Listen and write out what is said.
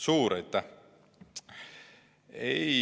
Suur aitäh!